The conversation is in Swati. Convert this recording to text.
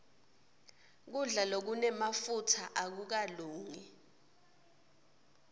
kudla lokunemafutsa akukalungi